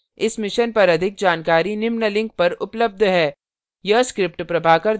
इस mission पर अधिक जानकारी निम्न लिंक पर उपलब्ध है